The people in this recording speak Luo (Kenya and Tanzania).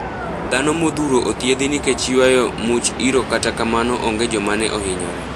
Dhano modhuro othiedh nikech yuayo much iro kata kamano onge joma ne ohinyore.